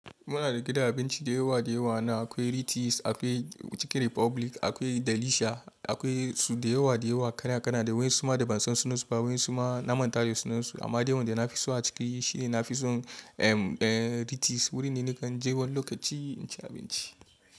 Muna da gidan abinci da yawa da yawa na akwai Ritiss, akwai Chicken Republic, akwai Delicia akwai su da yawa da yawa kana kana da wayen suma da bansan sunansu ba wayen suma na manta da sunansu. Amma dai wanda na fi so a ciki shine na fi son Ritiss. Wuri ne nikan je wani lokaci in ci abinci.